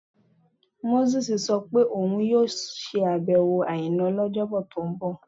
Mósè sọ pé òun yóò ṣàbẹ̀wò sí Àìná lọ́jọ́bọ tó ń bọ̀